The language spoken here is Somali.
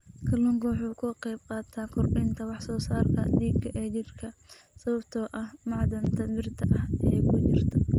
Kalluunku waxa uu ka qaybqaataa kordhinta wax soo saarka dhiigga ee jidhka sababtoo ah macdanta birta ah ee ku jirta.